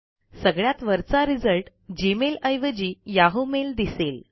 सगळ्यात वरचा result Gmail ऐवजी याहू मेल दिसेल